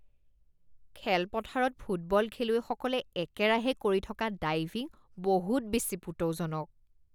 খেলপথাৰত ফুটবল খেলুৱৈসকলে একেৰাহে কৰি থকা ডাইভিং বহুত বেছি পুতৌজনক